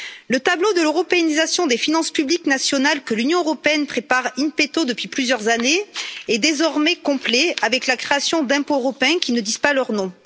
Le tableau de l'européanisation des finances publiques nationales que l'Union européenne prépare in petto depuis plusieurs années est désormais complet, avec la création d'impôts européens qui ne disent pas leur nom.